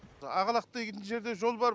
ақлақ деген жерде жол бар